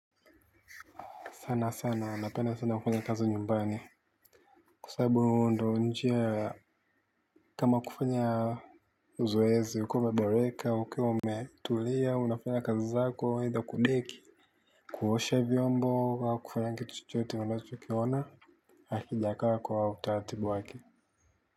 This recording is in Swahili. Sanasana napenda sana kufanya kazi nyumbani kwa sababu ndio njia ya kama kufanya zoezi ukiwa umeboreka ukiwa umetulia unafanya kazi zako aitha kudeki kuoshe vyombo au kufanya kitu chochote unachokiona hakijakaa kwa utaratibu wake.